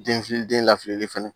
Den fili den lafilili fɛnɛ